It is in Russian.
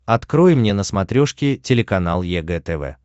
открой мне на смотрешке телеканал егэ тв